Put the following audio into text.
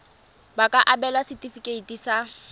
ba ka abelwa setefikeiti sa